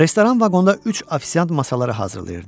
Restoran vaqonda üç ofisiant masaları hazırlayırdı.